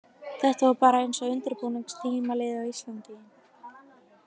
Þetta var bara eins og undirbúningstímabilið á Íslandi.